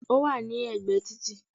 Ó wà ní ègbé e títì